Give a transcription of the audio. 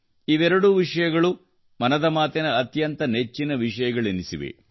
ಇವೆರಡೂ ವಿಷಯಗಳು ಮನದ ಮಾತಿನ ಅತ್ಯಂತ ನೆಚ್ಚಿನ ವಿಷಯಗಳೆನಿಸಿವೆ